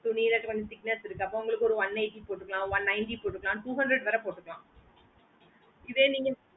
துணில வந்து thickness இருக்கு அப்போ உங்களுக்கு ஒரு one eighty போட்டுக்கலாம் one ninety போட்டுக்கலாம் two hundred வேற போட்டுக்கலாம் இதே நீங்க